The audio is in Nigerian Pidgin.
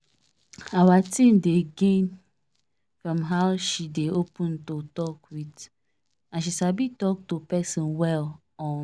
our team dey gain from how she dey open to talk with and she sabi talk to person well um